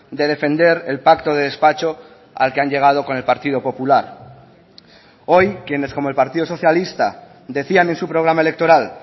de defender el pacto de despacho al que han llegado con el partido popular hoy quienes como el partido socialista decían en su programa electoral